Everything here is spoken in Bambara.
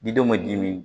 Didenw bɛ dimi